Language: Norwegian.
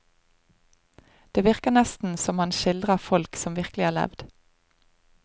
Det virker nesten som han skildrer folk som virkelig har levd.